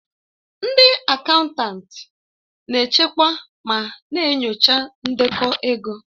Ndị akaụntanti na-echekwa ma na-enyocha ndekọ ego.